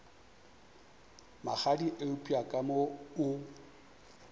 magadi eupša ka mo o